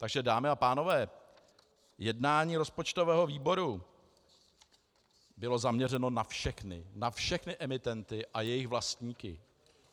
Takže dámy a pánové, jednání rozpočtového výboru bylo zaměřeno na všechny, na všechny emitenty a jejich vlastníky.